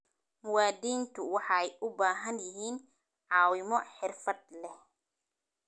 Muwaadiniintu waxay u baahan yihiin caawimo xirfad leh.